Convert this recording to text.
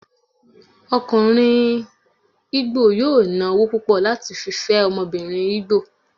okunrin Igbo yóò ná ọwọ púpò láti fí fé ọmọbìnrin igbo